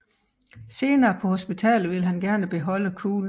Senere på hospitalet ville han gerne beholde kuglen